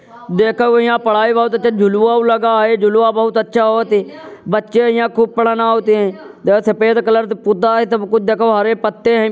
देखौ यहाँ पढाई बोहोत अच्छा झुलवाओ लगा है। झुलवा बहुत अच्छा होत हैं। बच्चे यहाँ खूब पढ़न आवत हैं। देखौ सफ़ेद कलर से पुता है सब कुछ। देखो हरे पत्ते हैं।